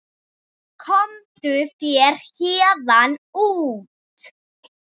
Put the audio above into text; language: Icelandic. Komdu þér héðan út.